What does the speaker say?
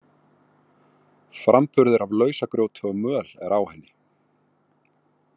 Framburður af lausagrjóti og möl er á henni.